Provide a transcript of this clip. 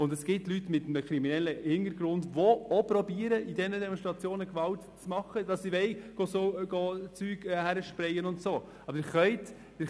Zudem gibt es Leute mit einem kriminellen Hintergrund, die Demonstrationen für die Ausübung von Gewalt nutzen, herumsprayen und so weiter.